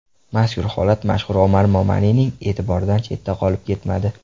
Mazkur holat mashhur Omar Momanining e’tiboridan chetda qolib ketmadi.